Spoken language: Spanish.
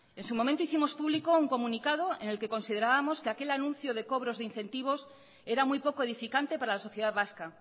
en su momento hicimos público un comunicado en el que considerábamos que aquel anuncio de cobros de incentivos era muy poco edificante para la sociedad vasca